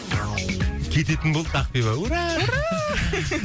кететін болдық ақбибі ура ура